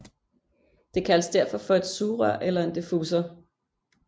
Det kaldes derfor for et sugerør eller en difusor